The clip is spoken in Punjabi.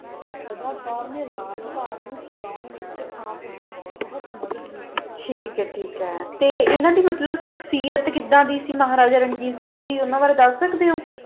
ਦਾ ਸਦਾ ਕੋਰ ਨਾ ਰਾਜ ਪਾਲ ਨੂ ਚਾਲਾਂ ਲੀ ਅਨਾ ਦੀ ਬੋਹਤ ਮਦਦ ਕੀਤੀ ਸੀ ਠੀਕ ਆ ਠੀਕ ਆ ਤਾ ਅਨਾ ਦੀ ਸ਼ਕਸੀਅਤ ਕੀੜਾ ਦੀ ਮਹਾਰਾਜਾ ਰਣਜੀਤ ਸਿੰਘ ਦੀ